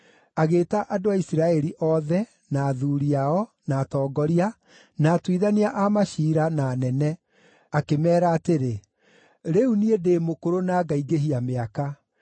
agĩĩta andũ a Isiraeli othe, na athuuri ao, na atongoria, na atuithania a maciira, na anene, akĩmeera atĩrĩ: “Rĩu niĩ ndĩ mũkũrũ na ngaingĩhia mĩaka.